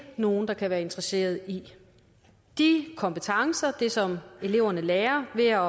nogen der kan være interesseret i de kompetencer det som eleverne lærer ved at